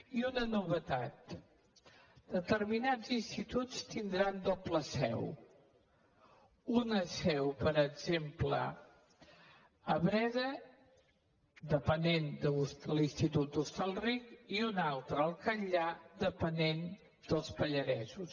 i una novetat determinats instituts tindran doble seu una seu per exemple a breda depenent de l’institut d’hostalric i una altra al catllar depenent dels pallaresos